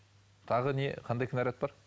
тағы не қандай кінәрат бар